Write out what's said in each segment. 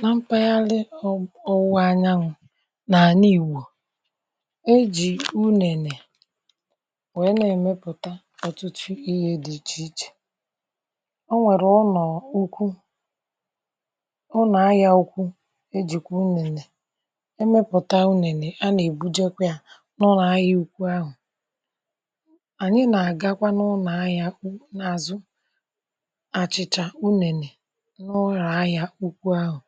N’ehihie, mgbe anyanwụ̀ na-ekpo ọkụ, um a na-amalite ọrụ ịmepụta achịcha n’ike ya nile. A na-emepụta achịcha n’ụdị dị iche iche na nha dị iche iche, ma usoro a chọrọ mgbalị, nka, na nhazi. Achịcha e siworo a na-ebuga n’ụlọ ahịa ukwu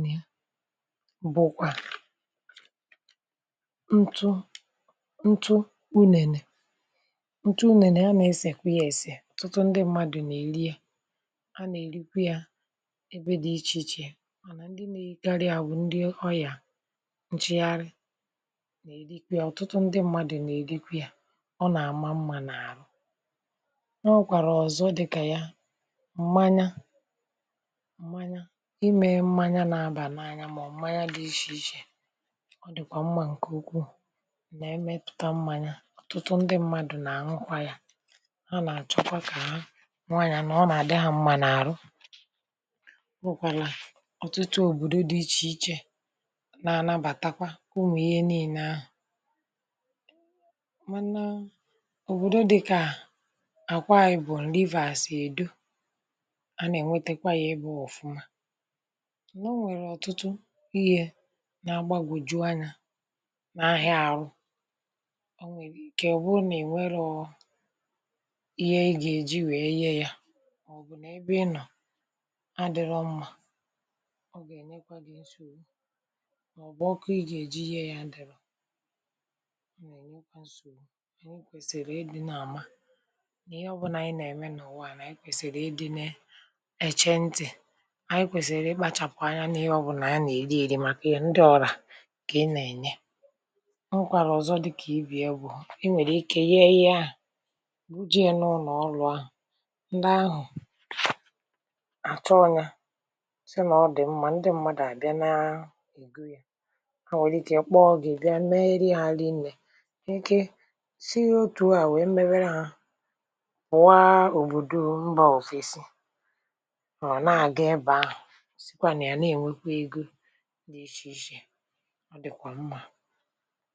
ebe ndị mmadụ na-aga ịzụta achịcha na ihe ndị ọzọ e si n’ụlọ achịcha pụta. Onye Na-ekwu: N’ụlọ ahịa ndị ahụ, a na-ahụ ụdị achịcha dị iche iche nke ọhụrụ, nke dị nro, na nke na-atọ ụtọ. Ndị mmadụ na-eguzo kwụsị n’ebe ahụ iji zụta achịcha maka onwe ha, maka ụlọ ahịa ha, maọbụ maka ire ọzọ. um Ime achịcha emeela ihe a na-ahụkarị n’obodo dị iche iche na n’ime obodo ukwu, ma ugbu a, a na-ebunye achịcha n’ụgbọ ibu gaa n’aka ndị na-ere ahịa ukwu na ndị nta. Ụfọdụ n’ime achịcha ndị a a na-emepụta n’ogo ukwu ma na-ebuga ha n’ụgbọ ala gaa n’ebe ndị na-ere ihe n’akụkụ ụzọ, n’ọdụ̀ ụgbọ̀ala, na n’ụlọ ahịa dị iche iche. A pụkwara ịre achịcha ozugbo n’ụlọ ahịa maọbụ n’ụlọ ahịa ukwu. Ụfọdụ ụlọ achịcha taa na-eme mgbasa ozi ha n’ịntanetị. um Ha na-etinye foto nke achịcha ha n’ọgbakọ ndị mmadụ n’ịntanetị, na-anabata iwu ma zipụ ndị ahịa ha ihe n’ebe ha nọ. Usoro esi eme achịcha na-amalite site n’ịgwakọta ntụ ọka nke ọma, hapụ ka ọ pụta, sie ya nke ọma, wee kee ya nke ọma tupu ebuga ya n’ahịa. Ị nwekwara ike ịmepụta akara maọbụ aha pụrụ iche iji mee ka ngwaahịa gị maa mma. Ụzọ dị iche iche dị maka isi achịcha — ụfọdụ na-eji ọkụ osisi, ebe ndị ọzọ na-eji ọkụ gas maọbụ eletrik. Ụzọ ọ bụla n’ime ha na-enye achịcha isi ụtọ pụrụ iche. A pụkwara ịme achịcha n’ụlọ, n’ogo nta. um Ị nwere ike ịmalite site n’iji akụrụngwa dị mfe gwakọta ntụ ọka, tinye yist na mmiri, hapụ ya ka ọ pụta, wee sie ya. Mgbe e mesịrị ya nke ọma, hapụ ka o jụọ oyi, kee ya nke ọma, ma ọ dị njikere maka ire ahịa maọbụ iri n’ụlọ. Ị nwekwara ike ịkesa ozi banyere achịcha gị site n’ekwentị maọbụ n’ịntanetị iji ruo ndị ahịa ọzọ n’ebe dị nso. E nwekwara ngwaahịa ọzọ e si na achịcha mee, bụ ntụ ntụ achịcha. Ndị mmadụ na-eji ya esi nri, karịsịa mgbe ha na-eme anụ maọbụ̀ ihe a na-ata ọkụ. um A na-emepụta ntụ ntụ achịcha site n’ịchaa achịcha e siworo, mee ka ọ sie ike, wee tụgharịa ya bụrụ ntụ ntụ dị mma. A na-eji ya eme ihe n’ụlọ nri na n’ụlọ ndị mmadụ n’ihi na ọ na-eme ka nri sie ụtọ ma bụrụ nke mara mma. Ịmepụta achịcha abụtela nnukwu azụmahịa. Ọ na-enye ọtụtụ mmadụ ọrụ ndị na-esi achịcha, ndị na-ebuga ya, ndị na-ere ya, na ọbụna ndị na-asa ebe ahụ. Achịcha bụ otu n’ime nri kacha ewu ewu n’ihi na ọ dị ọnụ ala, dị mfe ime, ma na-eme ka mmadụ jupụta ngwa ngwa. Achịcha a na-emepụta n’obodo otu mgbe ụfọdụ a na-ebuga ya n’obodo ndị ọzọ maọbụ n’ime obodo ukwu, um nke na-enye ọtụtụ mmadụ ego na ọrụ n’ụzọ dị iche iche. Achịcha bụ ihe ndị mmadụ niile hụrụ n’anya ụmụaka, ndị ntorobịa, na ndị okenye. Ọ na-eweta obi ụtọ na afọ ojuju n’ụlọ. Ma ọ dị mkpa ka e lekọta ọcha nke ọma. Ebe a na-eme achịcha ekwesịghị ịdị jọ njọ maọbụ juputa n’ihe mmetọ. Ndị na-esi achịcha kwesịrị ị na-asa aka ha nke ọma, sachaa ngwa ọrụ ha, ma jide n’aka na ihe ha na-eji adịghị emerụ ahụ. um Onye ọbụla na-eme maọbụ na-ere achịcha kwesịrị ilekọta ịdị ọcha n’ihi ahụ ike ndị ahịa ha.; Mgbe e siworo achịcha nke ọma, ọ na-esi ísì ụtọ ma na-atọ ụtọ n’anya. Ndị mmadụ na-erikarị ya na tii, butter, maọbụ soft drink. Ndị ọzọ na-erikarị ya n’ụtụtụ tupu ha aga ọrụ maọbụ ụlọ akwụkwọ. Ịmepụta achịcha, ibuga ya, na ire ya abụrụla akụkụ dị mkpa n’ime ndụ obodo na-enyere ezinụlọ aka, na-eweta ego, ma na-enye ọtụtụ mmadụ nri kwa ụbọchị.